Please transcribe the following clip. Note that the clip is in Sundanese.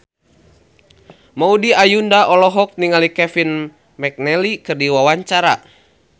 Maudy Ayunda olohok ningali Kevin McNally keur diwawancara